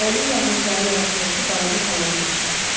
Əli ilə ağacların arasındakı balaca talanı göstərdi.